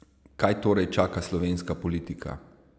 Kaj torej čaka slovenska politika?